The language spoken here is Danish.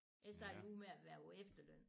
Jeg startede jo ud med at være på efterløn